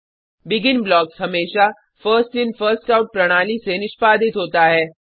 begin blocks हमेशा first in first out प्रणाली से निष्पादित होता है